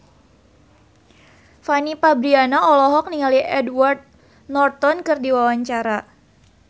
Fanny Fabriana olohok ningali Edward Norton keur diwawancara